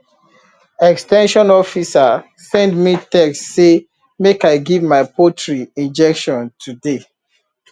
ex ten sion officer send me text say make i give my poultry injection today